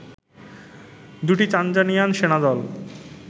দুটি তানজানিয়ান সেনাদল